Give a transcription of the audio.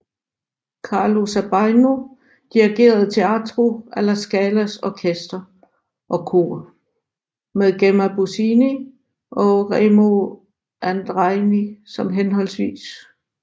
Carlo Sabajno dirigerede Teatro alla Scalas orkester og kor med Gemma Bosini og Remo Andreini som hhv